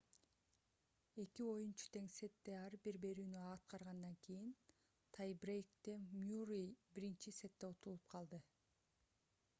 эки оюнчу тең сетте ар бир берүүнү аткаргандан кийин тай-брейкте мюррей биринчи сетте утулуп калды